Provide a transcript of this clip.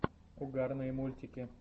угарные мультики